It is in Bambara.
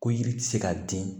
Ko yiri tɛ se ka den